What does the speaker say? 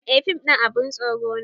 Eh fim ɗin abun tsoro ne